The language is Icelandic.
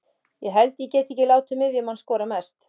Ég held ég geti ekki látið miðjumann skora mest.